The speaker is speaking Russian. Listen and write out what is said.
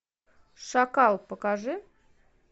шакал покажи